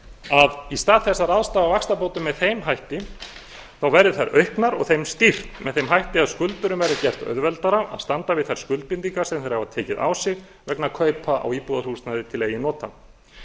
að í stað þess að ráðstafa vaxtabótum með þeim hætti verði þær auknar og þeim stýrt með þeim hætti að skuldurum verði gert auðveldara að standa við þær skuldbindingar sem þeir hafa tekið á sig vegna kaupa á íbúðarhúsnæði til eigin nota